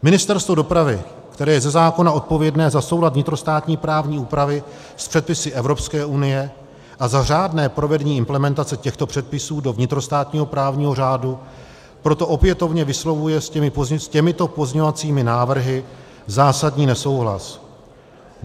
Ministerstvo dopravy, které je ze zákona odpovědné za soulad vnitrostátní právní úpravy s předpisy Evropské unie a za řádné provedení implementace těchto předpisů do vnitrostátního právního řádu, proto opětovně vyslovuje s těmito pozměňovacími návrhy zásadní nesouhlas.